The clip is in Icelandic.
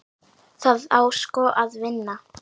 Það á sko að vinna.